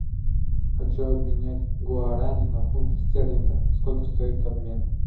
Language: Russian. хочу обменять гуарани на фунты стерлинга сколько стоит обмен